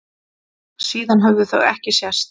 Síðan höfðu þau ekki sést.